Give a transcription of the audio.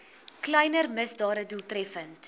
kleiner misdade doeltreffend